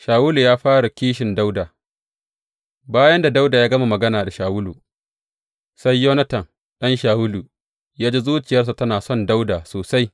Shawulu ya fara kishin Dawuda Bayan da Dawuda ya gama magana da Shawulu, sai Yonatan ɗan Shawulu ya ji zuciyarsa tana son Dawuda sosai.